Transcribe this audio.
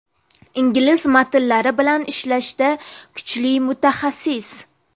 Ingliz matnlari bilan ishlashda kuchli mutaxassis.